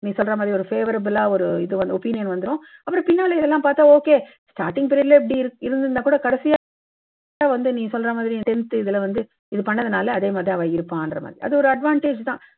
நீ சொல்றா மாதிரி ஒரு favorable லா ஒருஇது வந்து opinion வந்துடும். அப்புறம் பின்னால எல்லாம் பார்த்தா okay starting period ல இப்படி இருந்திருந்தா கூட கடைசியா வந்து நீ சொல்றா மாதிரி tenth இதுல வந்து skills இதெல்லாம் வந்து நீ சொல்றா மாதிரி தா இருப்பான். இது பண்ணதுனால அதே மாதிரி தான் இருப்பான். அது ஒரு advantage தான்.